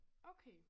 Okay